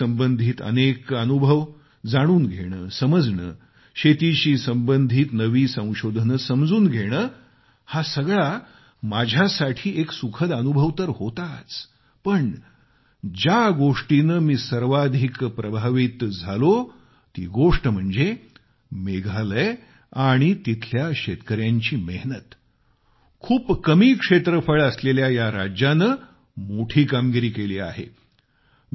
शेतीशी संबंधित अनेक अनुभव जाणून घेणे समजणे शेतीशी संबधित नवी संशोधने समजून घेणे हा सगळा माझ्यासाठी एक सुखद अनुभव तर होताच पण ज्या गोष्टीने मी सर्वाधिक प्रभावित झालो ती गोष्ट म्हणजे मेघालय आणि तिथल्या शेतकऱ्यांची मेहनत खूप कमी क्षेत्रफळ असलेल्या या राज्याने मोठी कामगिरी केली आहे